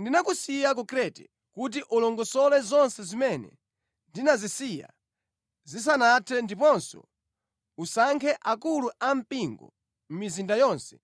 Ndinakusiya ku Krete kuti ulongosole zonse zimene ndinazisiya zisanathe ndiponso usankhe akulu ampingo mʼmizinda yonse,